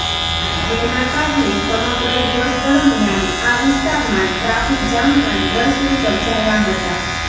જેના કારણે સમગ્ર દિવસ દરમિયાન આ વિસ્તારમાં ટ્રાફિક જામના દર્શ્યો સર્જાયા હતા